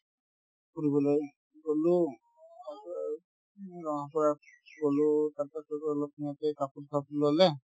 ফুৰিবলৈ গ'লো তাৰপিছত আৰু গলো তাৰপিছত অলপ সেনেকে কাপোৰ-চাপোৰ ল'লে